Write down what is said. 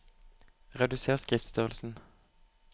Reduser skriftstørrelsen